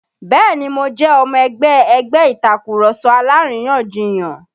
Bẹ́ẹ̀ni mo jẹ́ ọmọ ẹgbẹ́ ẹgbẹ́ Ìtàkurọ̀sọ alárìyanjiyàn